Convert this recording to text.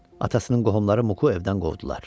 Atasının qohumları Mukku evdən qovdular.